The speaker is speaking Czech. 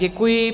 Děkuji.